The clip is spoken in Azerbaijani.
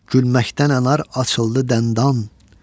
Gülməkdən anar açıldı dəndan.